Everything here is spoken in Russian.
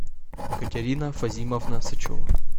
екатерина фазимовна сычева